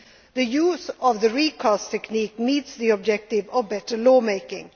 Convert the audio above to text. Regulation. The use of the recast technique meets the objective of better